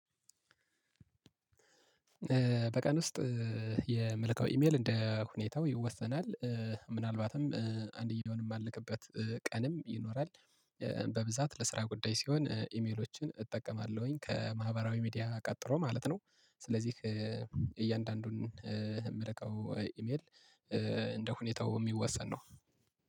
በቀን ውስጥ የምልከው ኢሜል እንደ ሁኔታው ይወሰናል ምናልባትም አንድ ጊዜም የማልክበት ቀንም ይኖራል። በብዛት ለስራ ጉዳይ ሲሆን ኢሜሎችን እጠቀማለሁኝ ከማህበራዊ ሚዲያ ቀጥሮ ማለት ነው። ስለዚህ እያንዳንዱን የምልከው ኢሜል እንደ ሁኔታው የሚወሰን ነው።